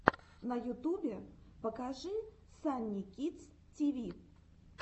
на ютубе покажи санни кидс ти ви